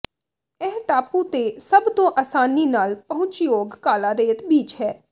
ਇਹ ਟਾਪੂ ਤੇ ਸਭ ਤੋਂ ਅਸਾਨੀ ਨਾਲ ਪਹੁੰਚਯੋਗ ਕਾਲਾ ਰੇਤ ਬੀਚ ਹੈ